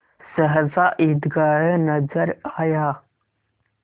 सहसा ईदगाह नजर आया